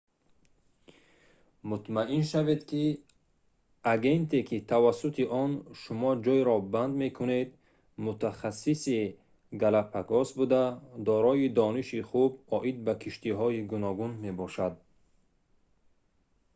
мутмаин шавед ки агенте ки тавассути он шумо ҷойро банд мекунед мутахассиси галапагос буда дорои дониши хуб оид ба киштиҳои гуногун мебошад